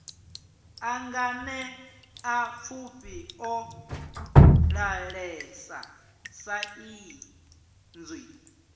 a nganeapfufhi o ḓalesa saizwi